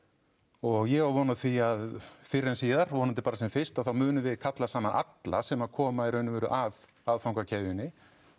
og ég á von á því að fyrr en síðar vonandi bara sem fyrst að þá munum við kalla saman alla sem koma í raun og veru að aðfangakeðjunni